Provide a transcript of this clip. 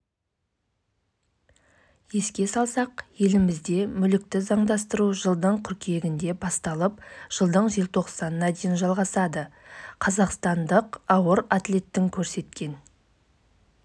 канада жылға таман электр қуатын өндіруде көмірден толық бас тартпақ бұл туралы осы елдің қоршаған ортаны қорғау министрі кэтрин маккенен мәлімдеді